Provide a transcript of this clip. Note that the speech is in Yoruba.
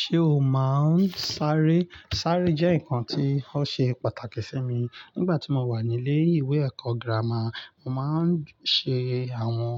Ṣé o máa ń sáré? Sáré jẹ́ nǹkan tí ó ṣe pàtàkì sí mi. Nígbà tí mo wà ní ilé ìwé ẹ̀kọ́ gírámà, mo máa ń ṣe àwọn,